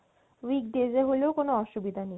weekdays এ হলেও কোনো অসুবিধা নেই